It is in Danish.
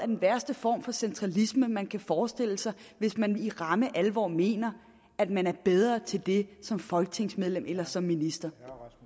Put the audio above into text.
den værste form for centralisme man kan forestille sig hvis man i ramme alvor mener at man er bedre til det som folketingsmedlem eller som minister